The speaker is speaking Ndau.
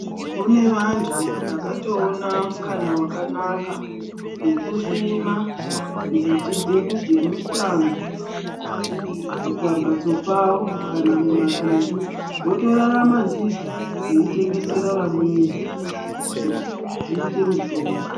Kune vantu vakatoona mukana wakanaka wekusima mbiti dzedu dzemushango pamhatso pavo kana mumabindu votorarama ndidzo veitengesera vamweni kuti dziite mutombo.